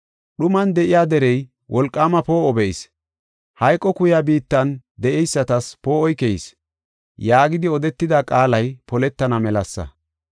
dhuman de7iya derey, wolqaama poo7o be7is. Hayqo kuya biittan, de7eysatas poo7oy keyis” yaagidi odetida qaalay poletana melasa.